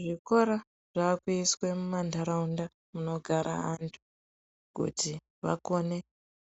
Zvikora zvakuiswe mumantaraunda munogare antu kuti vakone